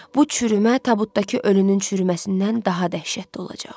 Bu çürümə tabutdakı ölünün çürüməsindən daha dəhşətli olacaq.